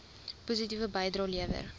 positiewe bydrae lewer